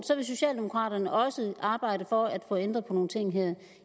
så vil socialdemokraterne også arbejde for at få ændret på nogle ting her